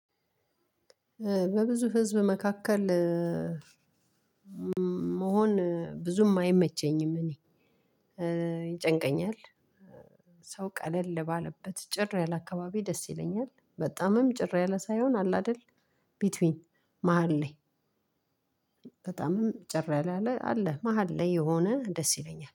በብዙ ህዝብ መካከል መሆን ብዙም አይመቸኝም። እኔ ይጨንቀኛል። ሰው ቀለል ባለበት ጭር ያለ አካባቢ ደስ ይለኛል። በጣምም ጭር ያለ ሳይሆን አለ አይደል? ቢትዊን መሃል ለይ። በጣምም ጭር ያለለ አላ መሃል ላይ የሆነ ደስ ይለኛል